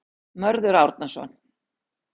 Mörður Árnason.